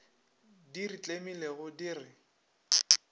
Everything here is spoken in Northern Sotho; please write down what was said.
di re tlemilego di re